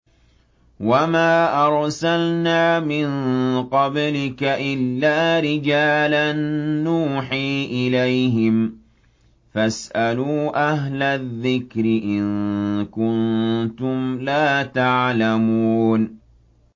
وَمَا أَرْسَلْنَا مِن قَبْلِكَ إِلَّا رِجَالًا نُّوحِي إِلَيْهِمْ ۚ فَاسْأَلُوا أَهْلَ الذِّكْرِ إِن كُنتُمْ لَا تَعْلَمُونَ